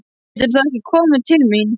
Geturðu þá ekki komið til mín?